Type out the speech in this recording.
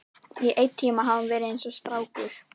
Í einn tíma hafði hún verið eins og strákur.